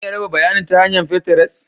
Zan iya raba bayanin ta hanyar finterest?